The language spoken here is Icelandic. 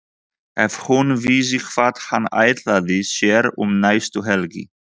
Ef hún vissi hvað hann ætlaði sér um næstu helgi!